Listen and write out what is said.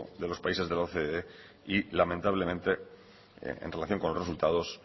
de los países de la ocde y lamentablemente en relación con los resultados